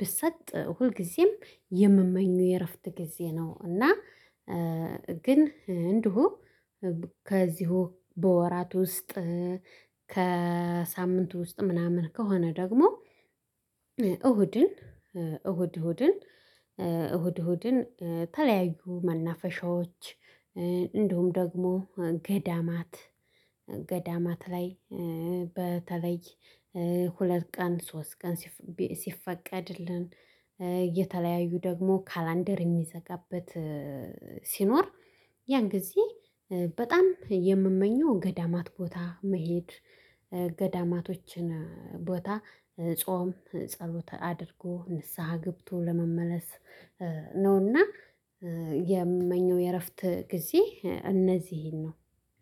ብሰጥ ሁልጊዜም የምመኘው የእረፍት ጊዜ ነው። እና ግን እንደው ከዚሁ በወራት ውስጥ ከሳምንቱ ውስጥ ምናምን ከሆነ ደግሞ። እሁድን እሁድ እሁድን እሁድ እሁድን ተለያዩ መናፈሻዎች እንደውም ደግሞ ገዳማት ገዳማት ላይ በተለይ ሁለት ቀን ሶስት ቀን። ሲፈቀድልን የተለያዩ ደግሞ ካላንደር የሚዘጋበት ሲኖር። ያን ጊዜ በጣም የምመኘው ገዳማት ቦታ መሄድ ገዳማቶችን ቦታ ጾም ጸሎት አድርጎ ንስሃ ገብቶ ለመመለስ ነውና። የምመኘው የእረፍት ጊዜ እነዚህን ነው።